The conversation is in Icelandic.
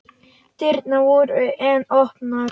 Dyrnar voru enn opnar.